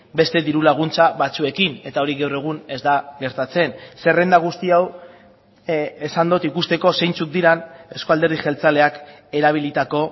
beste diru laguntza batzuekin eta hori gaur egun ez da gertatzen zerrenda guzti hau esan dut ikusteko zeintzuk diren euzko alderdi jeltzaleak erabilitako